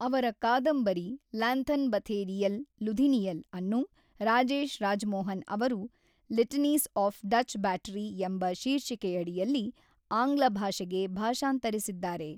ಅವರ ಕಾದಂಬರಿ ಲ್ಯಾಂಥನ್ಬಥೆರೀಯಲ್ ಲುಧಿನಿಯಲ್ ಅನ್ನು ರಾಜೇಶ್ ರಾಜಮೋಹನ್ ಅವರು ಲಿಟನೀಸ್ ಆಫ್ ಡಚ್ ಬ್ಯಾಟರಿ ಎಂಬ ಶೀರ್ಷಿಕೆಯಡಿಯಲ್ಲಿ ಆಂಗ್ಲ ಭಾಷೆಗೆ ಭಾಷಾಂತರಿಸಿದ್ದಾರೆ.